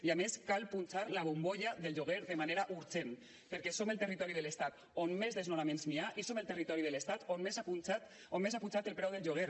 i a més cal punxar la bombolla del lloguer de manera urgent perquè som el territori de l’estat on més desnonaments hi ha i som el territori de l’estat on més ha pujat el preu del lloguer